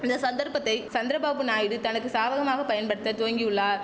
இந்த சந்தர்ப்பத்தை சந்திரபாபு நாயுடு தனக்கு சாதகமாக பயன்படுத்த துவங்கியுள்ளார்